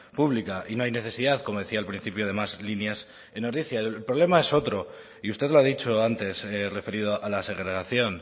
pública y no hay necesidad como decía al principio de más líneas en ordizia el problema es otro y usted lo ha dicho antes referido a la segregación